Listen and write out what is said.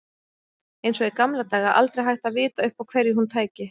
Eins og í gamla daga, aldrei hægt að vita upp á hverju hún tæki.